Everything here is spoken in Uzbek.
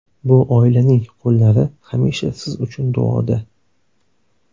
Bu oilaning qo‘llari hamisha siz uchun duoda.